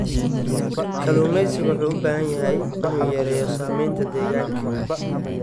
Kalluumeysiga wuxuu u baahan yahay inuu yareeyo saameynta deegaanka.